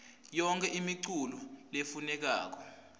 yonkhe imiculu lefunekako